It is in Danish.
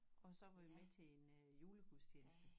Og så var vi med til en julegudstjeneste